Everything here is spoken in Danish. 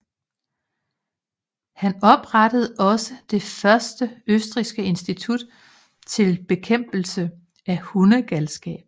Han oprettede også det første østrigske institut til bekæmpelse af hundegalskab